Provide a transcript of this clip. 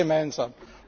nichts gemeinsam!